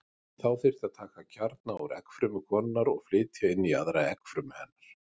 Þá þyrfti að taka kjarna úr eggfrumu konunnar og flytja inn í aðra eggfrumu hennar.